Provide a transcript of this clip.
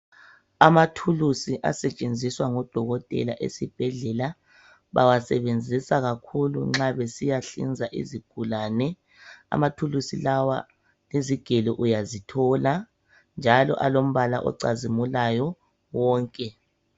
Amathulusi asetshenziswa ngodokotela esibhedlela, bawasebenzisa kakhulu nxa besiyahlinza izigulane. Amathulusi lawa izigelo uyazithola njalo alombala ocazimulayo wonke.